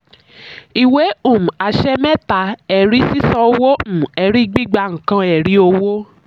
ìwé um àṣẹ mẹ́ta: ẹ̀rí sísán owó um ẹ̀rí gbígbà nǹkan ẹ̀rí owó.